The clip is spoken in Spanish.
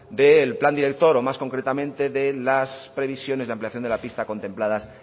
del plan director o más concretamente de las previsiones de la ampliación de la pista contempladas